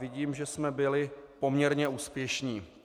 Vidím, že jsme byli poměrně úspěšní.